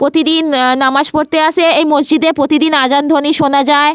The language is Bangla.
প্রতিদিন আহ নামাজ পড়তে আসে এই মসজিদে। প্রতিদিন আজান ধ্বনি শোনা যায়।